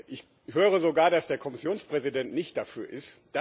Ich höre sogar, dass der Kommissionspräsident nicht dafür ist.